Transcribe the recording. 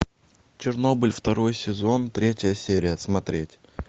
чернобыль второй сезон третья серия смотреть